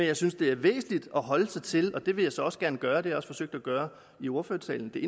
jeg synes det er væsentligt at holde sig til aftalen det vil jeg så også gerne gøre og det har jeg også forsøgte at gøre i ordførertalen og det